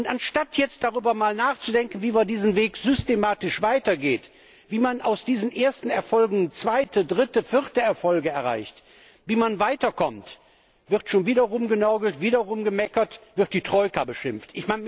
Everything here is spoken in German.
Anstatt jetzt mal darüber nachzudenken, wie man diesen Weg systematisch weitergeht, wie man aus diesen ersten Erfolgen zweite, dritte, vierte Erfolge erreicht, wie man weiterkommt, wird schon wieder rumgenörgelt, wieder rumgemeckert, wird die Troika beschimpft.